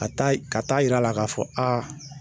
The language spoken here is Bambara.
Ka taa i, ka taa yira la ka fɔ a.